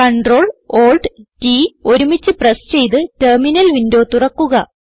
Ctrl Alt T ഒരുമിച്ച് press ചെയ്ത് terminal window തുറക്കുക